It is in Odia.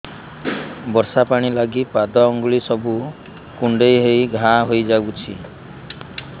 ବର୍ଷା ପାଣି ଲାଗି ପାଦ ଅଙ୍ଗୁଳି ସବୁ କୁଣ୍ଡେଇ ହେଇ ଘା ହୋଇଯାଉଛି